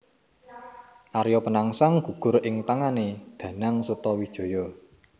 Arya Penangsang gugur ing tangané Danang Sutawijaya